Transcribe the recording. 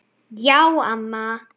Já, amma.